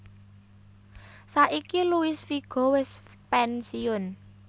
Saiki Luis Figo wis pensiun